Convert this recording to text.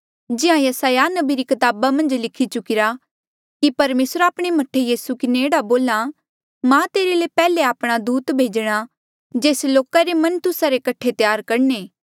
जिहाँ यसायाह नबी री कताबा मन्झ लिखी चुकिरा कि परमेसर आपणे मह्ठे यीसू किन्हें एह्ड़ा बोल्हा मां तेरे ले पैहले आपणा दूत भेजणा जेस लोका रे मन तुस्सा रे कठे त्यार करणे